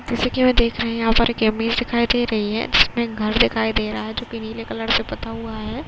जैसा कि मैं देख रहे हैं यहाँ पर एक इमेज दिखाई दे रही है जिसमें घर दिखाई दे रहा है जो की नीले रंग से पुता हुआ है।